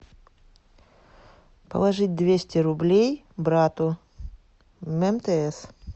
положить двести рублей брату мтс